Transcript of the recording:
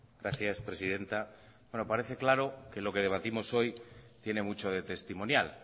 gracias presidenta bueno parece claro que lo que debatimos hoy tiene mucho de testimonial